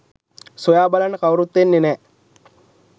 සොයා බලන්න කවුරුත් එන්නේ නෑ